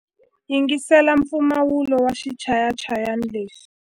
Yingisela mpfumawulo wa xichayachayani lexi.